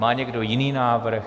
Má někdo jiný návrh?